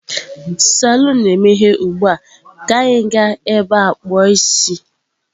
Salon na-emeghe ugbu a, ka anyị gaa ebe a kpu o isi.